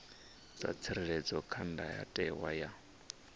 dza tsireledzwa kha ndayotewa ya